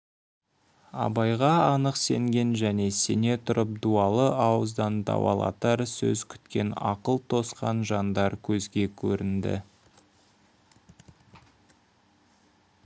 абайға анық сенген және сене тұрып дуалы ауыздан дауалатар сөз күткен ақыл тосқан жандар көзге көрінді